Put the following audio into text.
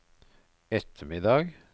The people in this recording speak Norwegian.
ettermiddag